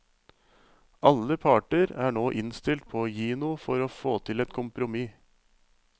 Alle parter er nå innstilt på å gi noe for å få til et kompromiss.